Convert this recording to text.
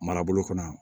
Marabolo kɔnɔ